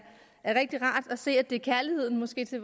rigtig rart at se at det er kærligheden måske til